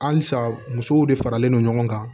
Halisa musow de faralen no ɲɔgɔn kan